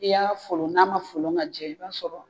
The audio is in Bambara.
Ni y'a folon n'a ma folon ka jɛ i b'a sɔrɔ